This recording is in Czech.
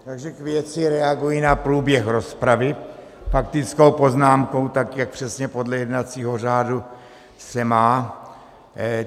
Takže k věci, reaguji na průběh rozpravy faktickou poznámkou, tak, jak přesně podle jednacího řádu se má.